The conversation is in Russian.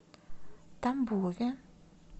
тамбове